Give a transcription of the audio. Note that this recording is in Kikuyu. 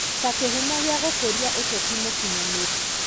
Ta kĩhumo gĩa gũkũria ũteti mũkinyanĩru.